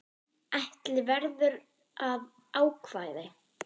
Ætla verður að ákvæði